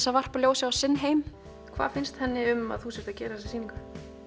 að varpa ljósi á sinn heim hvað finnst henni um að þú sért að gera þessa sýningu